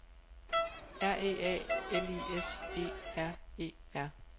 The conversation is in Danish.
R E A L I S E R E R